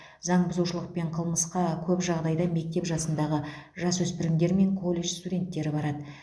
заңбұзушылық пен қылмысқа көп жағдайда мектеп жасындағы жасөспірімдер мен колледж студенттері барады